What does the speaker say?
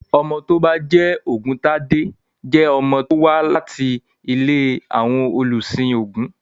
Ọmọ tó bá ń jẹ́ Ògúntade jẹ́ ọmọ tó wà láti ilé àwọn olùsìn ògún.